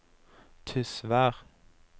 Tysvær